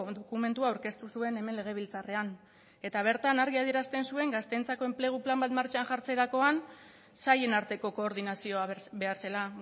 dokumentua aurkeztu zuen hemen legebiltzarrean eta bertan argi adierazten zuen gazteentzako enplegu plan bat martxan jartzerakoan sailen arteko koordinazioa behar zela